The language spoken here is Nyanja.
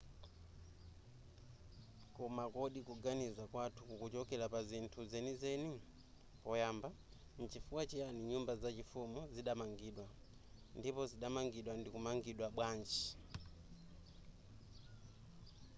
koma kodi kuganiza kwathu kukuchokera pa zinthu zenizeni poyamba nchifukwa chiyani nyumba zachifumu zidamangidwa ndipo zidapangidwa ndikumangidwa bwanji